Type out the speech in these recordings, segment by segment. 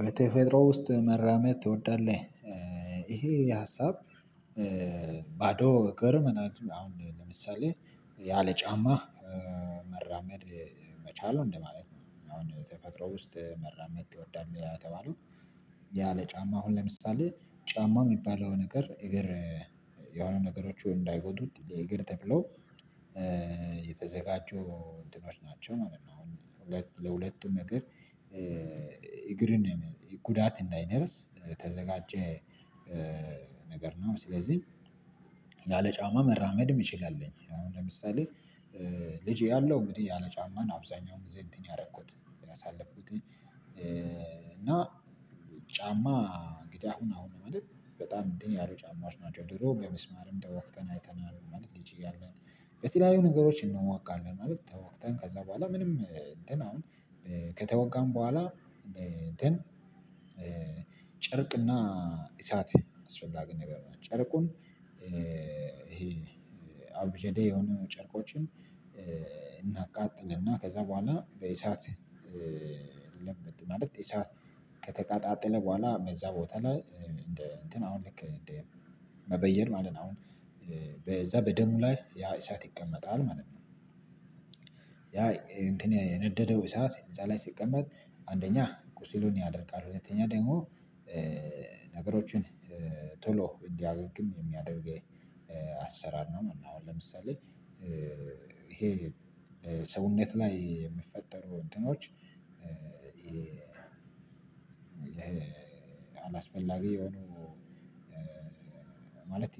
በተፌጥሮ ውስጥ መራመድ ትወዳለህ? ይሄ ሀሳብ ባዶ እግር እገርመናል አሁን ለምሳሌ ያለ ጫማ መራመድ መቻል ነው እንደማለት ነው። አሁን ተፈጥሮ ውስጥ መራመድ ትወዳለ የተባለው ያ ለጫማ አሁን ለምሳሌ ጫማው የሚባለው ነገር እግር የሆነ ነገሮች እንዳይጎዱት እግር ተብሎ የተዘጋጁ እንትኖች ናቸው ማለት ነው። አሁን ለሁለቱም እግር እግርን ጉዳት እንዳይደርስ ተዘጋጀ ነገር ነው። ስለዚህ ያለ ጫማ መራመድም የምችል አለ አሁን ለምሳሌ ልጅ እያለው እንግዲህ ያለ ጫማ ነው። አብዛኛውን ጊዜ እንትን ያደረኩት ያሳለፍኩት እና ጫማ እንግዳ ሁን አሁን ማለት በጣም እንትን ያሉ ጫማዎች ናቸው። ድሮ በሚስማርም ተወግተን አይተናል ማለት ልጅ እያለን በተለያዩ ነገሮች እንወጋለን ማለት ተወግተን ከዛ በኋላ ምንም እንትን አሁን ከተወጋን በኋላ እንትን ጨርቅና እሳት አስፈላጊ ነገር ነው። ጨርቁን አብዠዴ የሆኑ ጨርቆችን እናቃጥልና ከዛ በኋላ በኢሳት ለመድ ማለት ኢሳት ከተቃጣጠለ በኋላ በዛ ቦታ ላይ እንደ እንትን አሁን ልክ እንደ መበየድ ማለት ነው። አሁን በዛ በደሙ ላይ ያ እሳት ይቀመጣል ማለት ነው። ያ እንትን የነደደው እሳት እዛ ላይ ሲቀመጥ አንደኛ ቁስልን ያደርቃል ሁለተኛ ደግሞ ነገሮችን ቶሎ እንዲያገግም የሚያደርግ አሰራር ነው። አሁን ለምሳሌ ይሄ ሰውነት ላይ የሚፈጠሩ እንትኖች አላስፈላጊ የሆኑ ማለት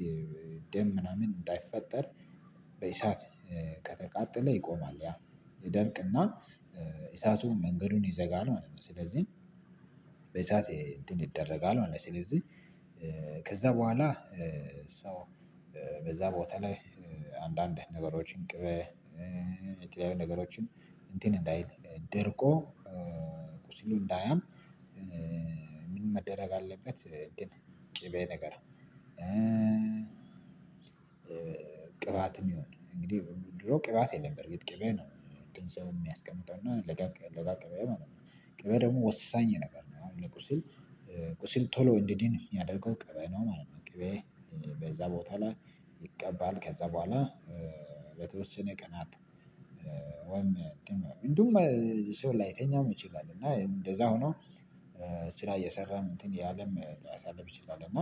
ደም ምናምን እንዳይፈጠር በኢሳት ከተቃጠለ ይቆማል ያ ይደርቅና ኢሳቱን መንገዱን ይዘጋል ማለት ነው። ስለዚህ በእሳት እንትን ይደረጋል ማለት ነው። ስለዚህ ከዛ በኋላ ሰው በዛ ቦታ ላይ አንዳንድ ነገሮችን ቅቤ የተለያዪ ነገሮችን እንትን እንዳይል ደርቆ ቁስሉ እንዳያም። ምን መደረግ አለበት? ግን ቅቤ ነገር ቅባትም ይሁን እንግዲህ ድሮ ቅባት የለም በርግጥ ቅቤ ነው። ሰው የሚያስቀምጠው እና ለጋ ቅቤ ማለት ነው ቅቤ ደግሞ ወሳኝ ነገር ነው። አሁን ለቁስል ቁስል ቶሎ እንዲድን የሚያደርገው ቅቤ ነው ማለት ነው። ቅቤ በዛ ቦታ ላይ ይቀባል ከዛ በኋላ በተወሰነ ቀናት ወይም ሰው ላይተኛም ይችላል እና እንደዛ ሆኖ ስራ እየሰራም እንትን እይለም ሊያሳልፍ ይችላል። እና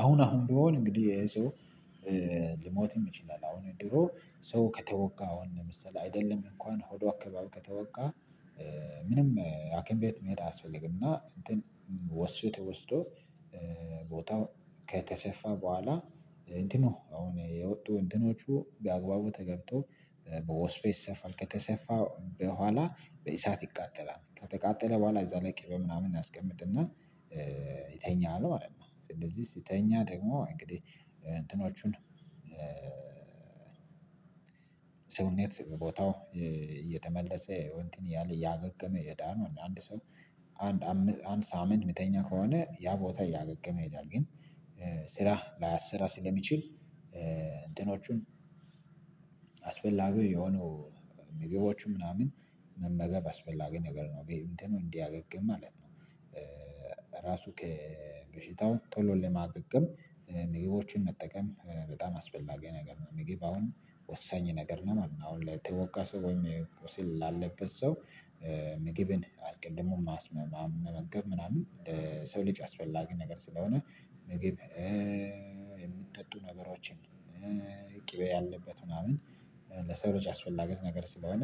አሁን አሁን ቢሆን እንግዲህ የሰው ልሞትም ይችላል። አሁን ድሮ ሰው ከተወጋ አሁን ለምሳሌ አይደለም እንኳን ሆዷ አካባቢ ከተወጋ ምንም አኪም ቤት መሄድ አያስፈልግምና እንትን ወስፌ ተወስዶ ቦታው ከተሰፋ በኋላ እንትኖ አሁን የወጡ እንትኖቹ በአግባቡ ተገብቶ በወስፔ ይሰፋል ከተሰፋ በኋላ በእሳት ይቃጠላል ከተቃጠለ በኋላ እዛ ላይ ቅቤ ምናምን እናስቀምጥና ይተኛል ማለት ነው። ስለዚህ ሲተኛ ደግሞ እንግዲህ እንትኖቹን ቦታው እየተመለሰ ይሄው እንትን ያለ እያገገመ እየዳነው አንድ ሰው አንድ አምስት አምስት ሳምንት ሚተኛ ከሆነ ያ ቦታ እያገገመ ይሄዳል። ግን ስራ ላያሰራ ስለሚችል እንትኖቹን አስፈላጊ የሆኑ ምግቦቹ ምናምን መመገብ አስፈላጊ ነገር ነው እንትኑን እንዲያገግም ማለት ነው። ራሱ ከበሽታው ቶሎ ለማገገም ምግቦችን መጠቀም በጣም አስፈላጊ ነገር ነው። ምግብ አሁን ወሳኝ ነገር ነው ማለት ነው። አሁን ለተወጋ ሰው ወይም ቁስል ላለበት ሰው ምግብን አስቀድሞ ማስመ መመገብ ምናምን ሰው ልጅ አስፈላጊ ነገር ስለሆነ ምግብ የሚጠጡ ነገሮችን ቅቤ ያለበት ምናምን ለሰዎች አስፈላጊ ነገር ስለሆነ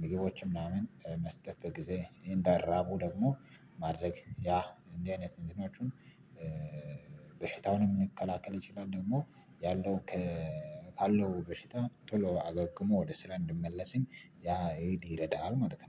ምግቦችን ምናምን መስጠት በጊዜ እንዳራቡ ደግሞ ማድረግ ያ እንዲህ አይነት እንትኖቹን በሽታውንም መከላከል ይችላል። ደግሞ ያለው ካለው በሽታ ቶሎ አገግሞ ወደ ስራ እንዲመለስም ያ ኤዲ ይረዳል ማለት ነው